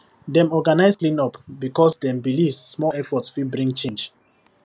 dem organize cleanup because dem believe small effort fit bring change